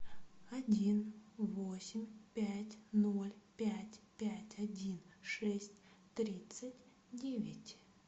один восемь пять ноль пять пять один шесть тридцать девять